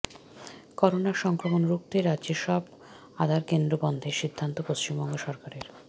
করোনার সংক্রমণ রুখতে রাজ্যের সব আধার কেন্দ্র বন্ধের সিদ্ধান্ত পশ্চিমবঙ্গ সরকারের